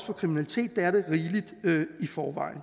for kriminalitet det er det rigeligt i forvejen